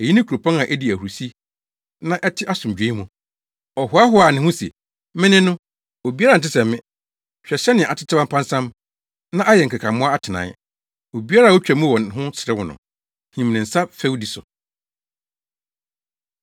Eyi ne kuropɔn a edi ahurusi na ɛte asomdwoe mu. Ɔhoahoaa ne ho se, “Me ne no, obiara nte sɛ me.” Hwɛ sɛnea atetew apansam, na ayɛ nkekammoa atenae! Obiara a otwa mu wɔ hɔ no serew no, him ne nsa fɛwdi so.